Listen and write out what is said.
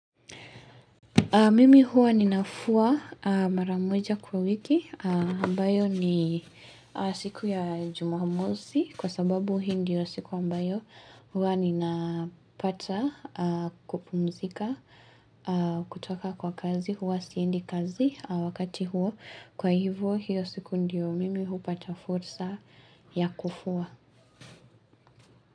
Mimi huwa ninafua mara moja kwa wiki ambayo ni siku ya jumamosi kwa sababu hii ndio siku ambayo huwa nina pata kupumzika kutoka kwa kazi huwa siendi kazi wakati huo kwa hivyo hiyo siku ndio mimi hupata fursa ya kufua.